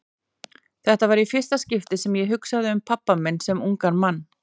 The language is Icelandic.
Þetta var í fyrsta skipti sem ég hugsaði um pabba minn sem ungan mann.